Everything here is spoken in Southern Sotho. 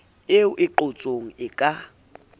ee e qotsong e ka